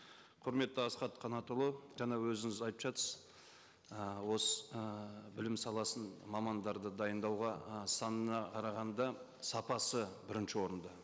құрметті асхат қанатұлы жаңа өзіңіз айтып жатырсыз ы осы ы білім саласын мамандарды дайындауға ы санына қарағанда сапасы бірінші орында